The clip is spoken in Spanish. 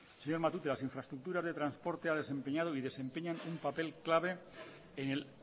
señor matute las infraestructuras de transporte ha desempeñado y desempeñan un papel clave en el